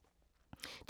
DR2